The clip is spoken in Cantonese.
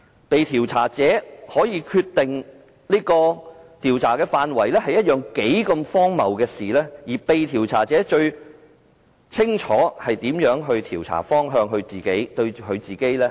被調查者可以決定調查範圍是一件多麼荒謬的事，而被調查者最清楚哪個調查方向對自己最有利。